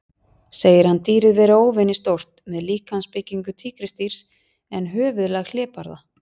Segir hann dýrið vera óvenju stórt, með líkamsbyggingu tígrisdýrs en höfuðlag hlébarða.